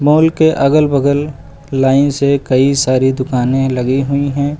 Hall के अगल बगल लाइन से कई सारी दुकानें लगी हुई हैं।